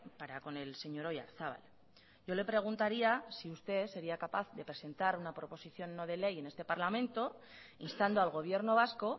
para con el señor oyarzabal yo le preguntaría si usted sería capaz de presentar una proposición no de ley en este parlamento instando al gobierno vasco